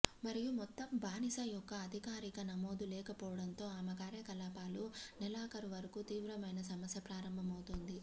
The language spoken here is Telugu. మరియు మొత్తం బానిస యొక్క అధికారిక నమోదు లేకపోవడంతో ఆమె కార్యకలాపాలు నెలాఖరు వరకు తీవ్రమైన సమస్య ప్రారంభమవుతుంది